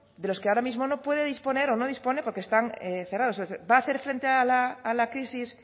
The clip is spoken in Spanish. de los que ahora mismo no puede disponer o no dispone porque están cerrados es decir va a hacer frente a la crisis